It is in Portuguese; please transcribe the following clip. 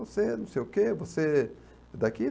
Você não sei o que, você é daqui?